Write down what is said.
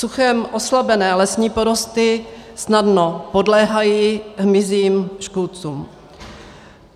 Suchem oslabené lesní porosty snadno podléhají hmyzím škůdcům.